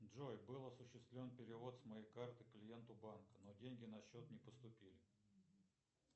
джой был осуществлен перевод с моей карты клиенту банка но деньги на счет не поступили